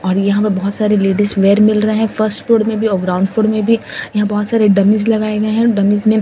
और यहां बोहोत सारे लेडीज वेयर मिल रहे हैं फर्स्ट फ्लोर में भी और ग्राउंड फ्लोर में भी यहां बोहोत सारे डमीज लगाए गए हैं डमीज में --